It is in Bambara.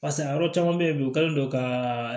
Pasa a yɔrɔ caman bɛ yen bi u kɛlen don ka